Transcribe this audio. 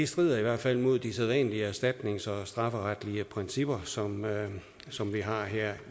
strider i hvert fald mod de sædvanlige erstatnings og strafferetlige principper som som vi har her